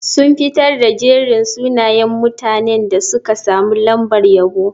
Sun fitar da jerin sunayen mutanen da suka samu lambar yabo.